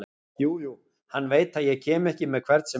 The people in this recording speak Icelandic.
Jú jú, hann veit að ég kem ekki með hvern sem er.